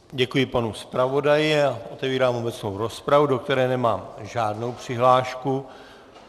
Děkuji panu zpravodaji a otevírám obecnou rozpravu, do které nemám žádnou přihlášku.